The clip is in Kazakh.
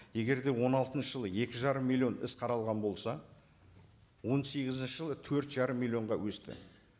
егер де он алтыншы жылы екі жарым миллион іс қаралған болса он сегізінші жылы төрт жарым миллионға өсті